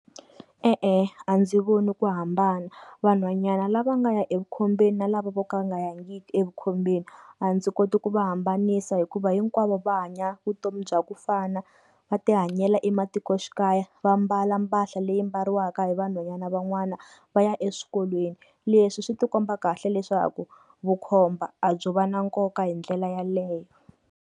E-e a ndzi voni ku hambana, vanhwanyana lava nga ya evukhombeni na lava vo ka va nga yangiki evukhombeni a ndzi koti ku va hambanisa hikuva hinkwavo va hanya vutomi bya ku fana, va ti hanyela ematikoxikaya va mbala mpahla leyi mbariwaka hi vanhwanyana van'wana va ya eswikolweni, leswi swi ti komba kahle leswaku vukhomba a byo va na nkoka hi ndlela yaleyo.